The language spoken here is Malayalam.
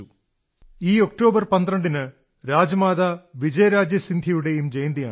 ഈ 12 ഒക്ടോബറിന് രാജമാതാ വിജയരാജേ സിന്ധ്യയുടെയും ജയന്തിയാണ്